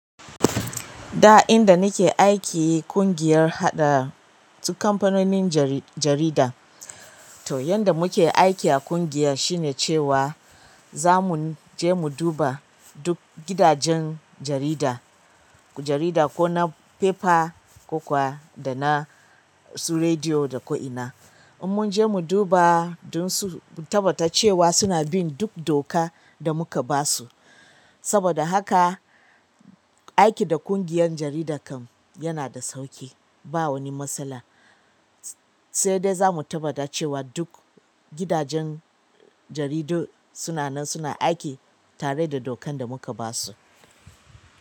Da inda nike aiki ƙungiyar haɗa, duk kamfanonin jari-jarida. To yanda muke aiki a ƙungiya shine cewa za mu je mu duba duk gidajen jarida, jarida ko na fefa, ko kuwa da na su rediyo da ko'ina. In mun je mu duba dun su, mu tabbata cewa suna bin duk doka da muka basu. Saboda haka, aiki da ƙungiyar jarida kam yana da sauƙi, ba wani matsala. Saidai zamu tabbata cewa duk gidajen jaridun sunanan suna aiki tareda dokan damuka basu.